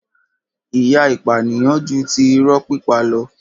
ìyà ìpànìyàn ju ti irọ́ pípa lọ.